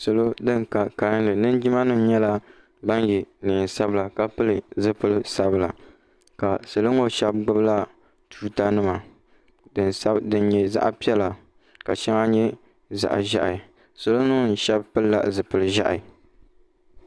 salo bin ka kanli linjima nim yɛla neen sabila ka pili zipili sabila ka salo ŋo shab gbubila tuuta nima din nyɛ zaɣ piɛla ka shɛŋa nyɛ zaɣ ʒiɛhi salo ŋo shab pilila zipili ʒiɛhi